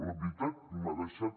la veritat m’ha deixat